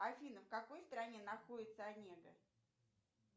афина в какой стране находится онега